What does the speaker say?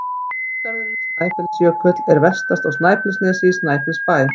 Þjóðgarðurinn Snæfellsjökull er vestast á Snæfellsnesi, í Snæfellsbæ.